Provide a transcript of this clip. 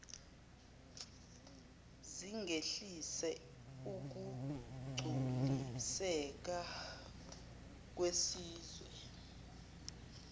zingehlisa ukugculiseka kwesizwe